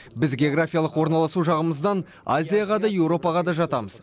біз географиялық орналасу жағымыздан азияға да еуропаға да жатамыз